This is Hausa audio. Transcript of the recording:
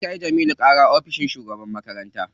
An kai Jamilu ƙara ofishin shugaban makaranta.